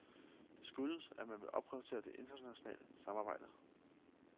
Det skyldes, at man vil opprioritere det internationale samarbejde.